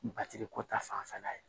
Batiri ko ta fanfɛla ye